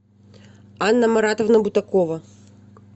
анна маратовна бутакова